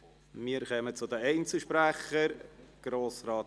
Wir kommen zu den Einzelsprechern.